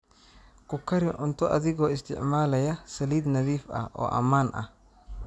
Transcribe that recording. Ku kari cunto adigoo isticmaalaya saliid nadiif ah oo ammaan ah.